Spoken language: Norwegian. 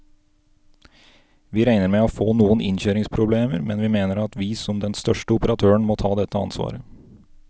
Vi regner med å få noen innkjøringsproblemer, men vi mener at vi som den største operatøren må ta dette ansvaret.